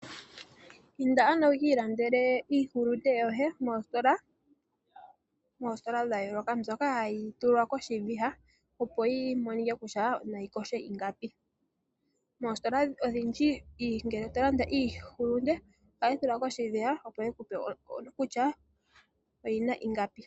Inda ano wukilandele iihulunde yoye mositola dha yoloka dhoka mboka hayi tulwa koshiviha opo yimonike kutya otayi vihi ingapi .Mositola odhindji ngele tolanda iihulunde ohayi tulwa koshiviha opo yikupe ondando.